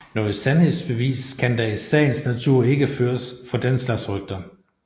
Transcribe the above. Noget sandhedsbevis kan der i sagens natur ikke føres for den slags rygter